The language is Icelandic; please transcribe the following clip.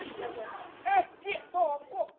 Ekki er það gott.